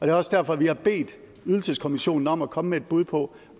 er også derfor vi har bedt ydelseskommissionen om at komme med et bud på